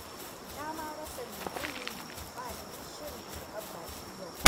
Na ma rasa me zan yi. Ba ni da shirin karɓar baƙi yau.